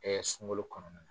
Ɛɛ sunkalo kɔnɔ.